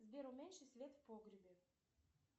сбер уменьши свет в погребе